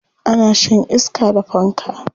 Ana shan iska da fanka.